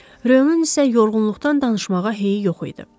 Röyonun isə yorğunluqdan danışmağa heyi yox idi.